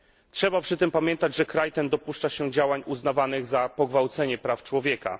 Trzeba przy tym pamiętać, że kraj ten dopuszcza się działań uznawanych za pogwałcenie praw człowieka.